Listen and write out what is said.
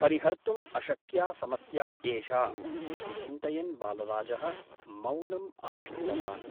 परिहर्तुम् अशक्या समस्या एषा ' इति चिन्तयन् बालराजः मौनम् आश्रितवान् ।